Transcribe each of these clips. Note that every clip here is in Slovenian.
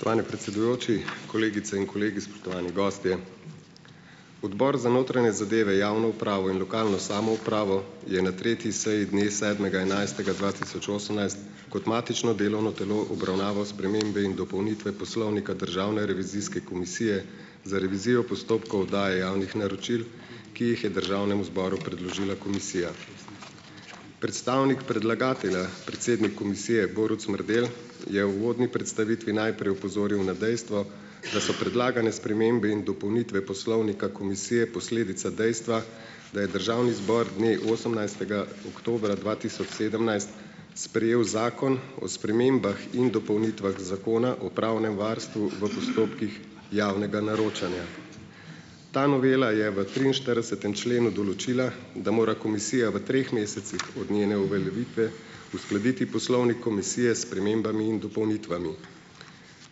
Spoštovani predsedujoči, kolegice in kolegi, spoštovani gostje! Odbor za notranje zadeve, javno upravo in lokalno samoupravo je na treti seji dne sedmega enajstega dva tisoč osemnajst kot matično delovno telo obravnaval spremembe in dopolnitve Poslovnika Državne revizijske komisije za revizijo postopkov oddaje javnih naročil, ki jih je državnemu zboru predložila komisija. Predstavnik predlagatelja, predsednik komisije Borut Smrdel, je v uvodni predstavitvi najprej opozoril na dejstvo, da so predlagane spremembe in dopolnitve poslovnika komisije posledica dejstva, da je državni zbor dne osemnajstega oktobra dva tisoč sedemnajst sprejel Zakon o spremembah in dopolnitvah Zakona o pravnem varstvu v postopkih javnega naročanja. Ta novela je v triinštiridesetem členu določila, da mora komisija v treh mesecih od njene uveljavitve uskladiti poslovnik komisije s spremembami in dopolnitvami.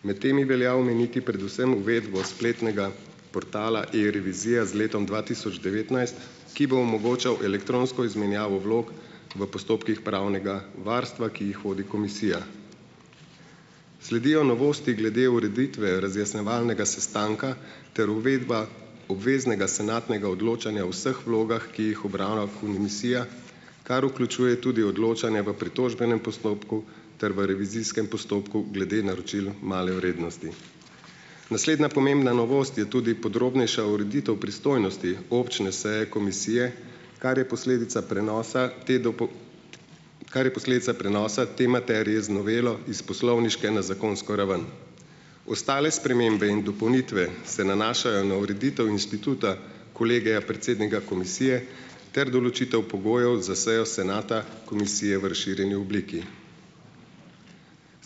Imeti temi velja omeniti predvsem uvedbo spletnega portala E-revizija z letom dva tisoč devetnajst, ki bo omogočal elektronsko izmenjavo vlog v postopkih pravnega varstva, ki jih vodi komisija. Sledijo novosti glede ureditve razjasnjevalnega sestanka ter uvedba obveznega senatnega odločanja o vseh vlogah, ki jih opravlja komisija, kar vključuje tudi odločanje v pritožbenem postopku ter v revizijskem postopku glede naročil male vrednosti. Naslednja pomembna novost je tudi podrobnejša ureditev pristojnosti občne seje komisije, kar je posledica prenosa te kar je posledica prenosa te materije z novelo iz poslovniške na zakonsko raven. Ostale spremembe in dopolnitve se nanašajo na ureditev inštituta Kolegija predsednika komisije ter določitev pogojev za sejo senata komisije v razširjeni obliki.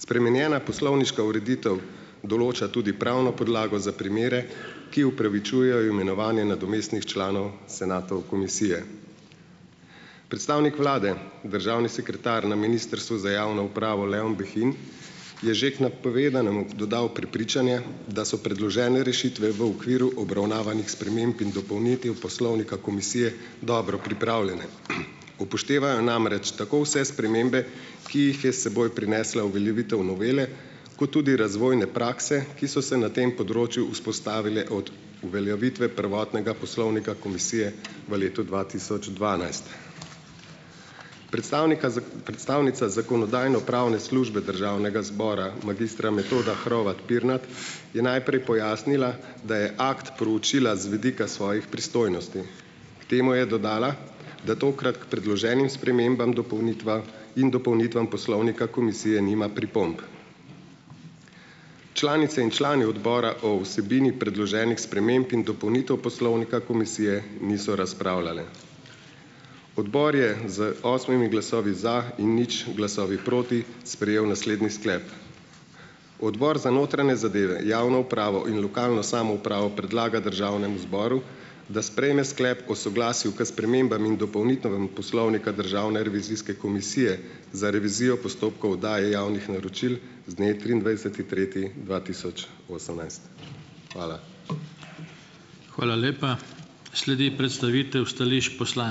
Spremenjena poslovniška ureditev določa tudi pravno podlago za primere, ki opravičujejo imenovanje nadomestnih članov senatov komisije. Predstavnik vlade, državni sekretar na Ministrstvu za javno upravo, Leon Behin, je že k napovedanemu dodal prepričanje, da so predložene rešitve v okviru obravnavanih sprememb in dopolnitev poslovnika komisije dobro pripravljene. Upoštevajo namreč tako vse spremembe, ki jih je s seboj prinesla uveljavitev novele kot tudi razvojne prakse, ki so se na tem področju vzpostavile od uveljavitve prvotnega poslovnika komisije v letu dva tisoč dvanajst Predstavnika predstavnica Zakonodajno-pravne službe Državnega zbora magistra Metoda Hrovat Pirnat, je najprej pojasnila, da je akt proučila z vidika svojih pristojnosti. K temu je dodala, da tokrat k predloženim spremembam in dopolnitvam Poslovnika komisije nima pripomb. Članice in članice odbora o vsebini predloženih sprememb in dopolnitev poslovnika komisije niso razpravljale. Odbor je z osmimi glasovi za in nič glasovi proti sprejel naslednji sklep: "Odbor za notranje zadeve, javno upravo in lokalno samoupravo predlaga državnemu zboru, da sprejme sklep o soglasju k spremembam in dopolnitvam poslovnika Državne revizijske komisije za revizijo postopkov oddaje javnih naročil z dne triindvajseti tretji dva tisoč osemnajst." Hvala.